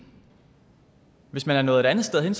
hvis man er nået et andet sted hen